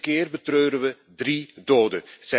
Deze keer betreuren we 3 doden.